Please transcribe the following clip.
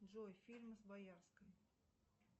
джой фильмы с боярской